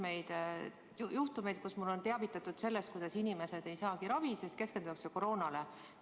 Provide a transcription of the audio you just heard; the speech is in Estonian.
Mind on mitmel juhul teavitatud sellest, kuidas inimesed ei saagi ravi, sest keskendutakse koroonale.